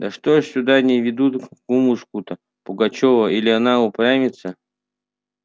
да что ж сюда не ведут кумушку-то пугачёва или она упрямится